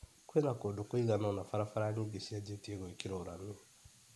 Kwĩna kũndũ kũiganona barabara nyingĩ cianjtie gwĩkĩrwo rami.